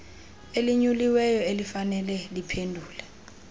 elinyuliweyo elifanele liphendule